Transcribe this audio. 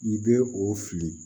I bɛ o fili